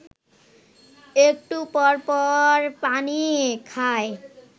একটু পরপর পানি খায়